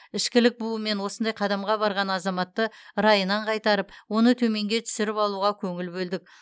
ішкілік буымен осындай қадамға барған азаматты райынан қайтарып оны төменге түсіріп алуға көңіл бөлдік